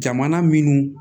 Jamana minnu